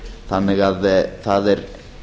þannig að það er